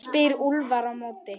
spyr Úlfar á móti?